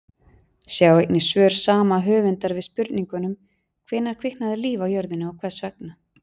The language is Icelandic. Sjá einnig svör sama höfundar við spurningunum Hvenær kviknaði líf á jörðinni og hvers vegna?